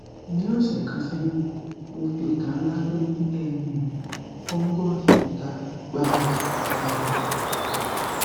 nih ọsẹ kan sẹyìn mo fi ìka ńlá tó nih um fungus ìka gbá um